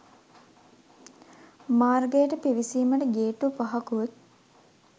මාර්ගයට පිවිසීමට ගේට්‌ටු පහකුත්